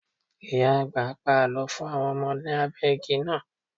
Ìyá-àgbà ń pa àlọ́ fún àwọn ọmọ lábẹ́ igi náà.